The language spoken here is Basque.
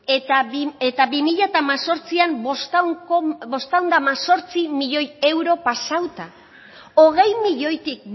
eta bi mila hemezortzi bostehun eta hemezortzi milioi euro pasauta hogei milioitik